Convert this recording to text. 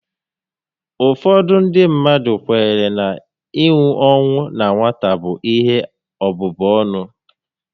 Ụfọdụ ndị mmadụ kwenyere na inwu ọnwụ na nwata bụ ihe ọbụbụ ọnụ